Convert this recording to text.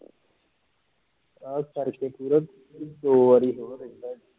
ਆਕਰ ਕੇ ਪੂਰਾ ਦੋ ਵਾਰੀ ਹੋਰ ਰਹਿੰਦਾ ਹੀ